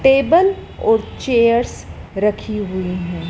Table और chairs रखी हुई हैं।